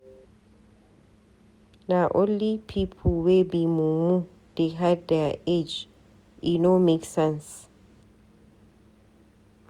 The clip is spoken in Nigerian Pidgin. Na only pipu wey be mumu dey hide their age, e no make sense.